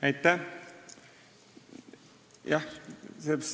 Aitäh!